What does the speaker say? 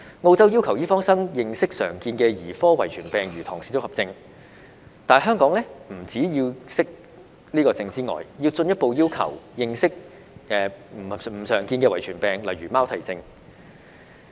澳洲要求醫科生認識常見的兒科遺傳病，如唐氏綜合症，但香港除了要求醫科生認識這個病症之外，更進一步要求他們認識非常見的遺傳病，如貓啼症。